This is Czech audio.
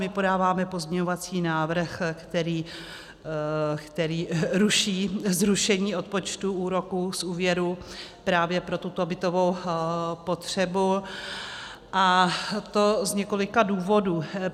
My podáváme pozměňovací návrh, který ruší zrušení odpočtu úroků z úvěrů právě pro tuto bytovou potřebu, a to z několika důvodů.